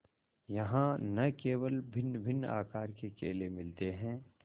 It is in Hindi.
यहाँ न केवल भिन्नभिन्न आकार के केले मिलते हैं